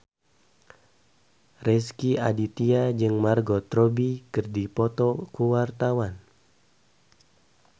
Rezky Aditya jeung Margot Robbie keur dipoto ku wartawan